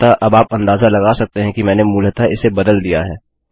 अतः अब आप अंदाज़ा लगा सकते हैं कि मैंने मूलतः इसे बदल दिया है